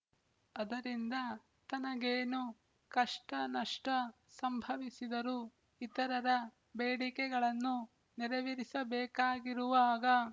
ಅದರಿಂದ ತನಗೇನು ಕಷ್ಟನಷ್ಟ ಸಂಭವಿಸಿದರೂ ಇತರರ ಬೇಡಿಕೆಗಳನ್ನು ನೆರವೇರಿಸಬೇಕಾಗಿರುವಾಗ